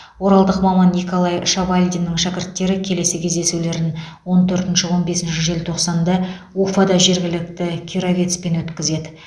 оралдық маман николай шавалдиннің шәкірттері келесі кездесулерін он төртінші он бесінші желтоқсанда уфада жергілікті кировецпен өткізеді